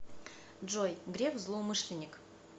джой греф злоумышленник